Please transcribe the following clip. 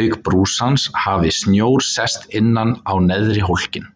auk brúsans hafi snjór sest innan á neðri hólkinn.